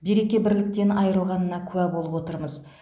береке бірліктен айырылғанына куә болып отырмыз